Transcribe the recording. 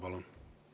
Palun!